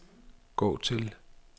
gå til